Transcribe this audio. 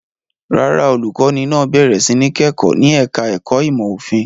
Rárá, olùkọ́ní náà bẹ̀rẹ̀ sí ní kẹ́kọ̀ọ́ ní ẹ̀ka-ẹ̀kọ́ ìmọ̀-òfin.